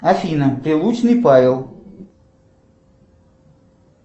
афина прилучный павел